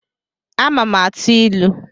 Ama m atụ ilu